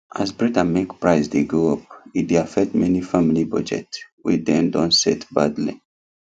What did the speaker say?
as bread and milk price dey go up e dey affect many family budget wey dem don set badly